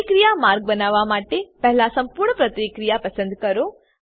પ્રતિક્રિયા માર્ગ બનાવવા માટે પહેલા સંપૂર્ણ પ્રતિક્રિયા પસંદ કરો